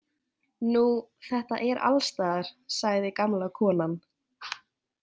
Nú, þetta er alstaðar, sagði gamla konan.